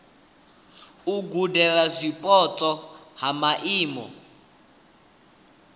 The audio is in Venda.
u gudela zwipotso ha maimo